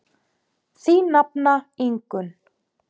Þín nafna Ingunn.